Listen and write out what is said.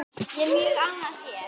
Ég er mjög ánægð hér.